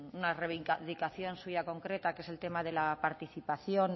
una reivindicación suya concreta que es el tema de la participación